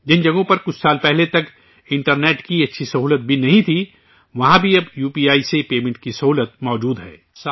جن جگہوں پر کچھ سال پہلے تک انٹرنیٹ کی اچھی سہولت بھی نہیں تھی، وہاں بھی اب یو پی آئی سے پیمنٹ کی سہولت موجود ہے